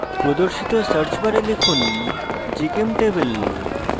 প্রদর্শিত search bar লিখুন gchemtable